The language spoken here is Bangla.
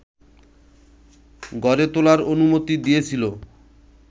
গড়ে তোলার অনুমতি দিয়েছিল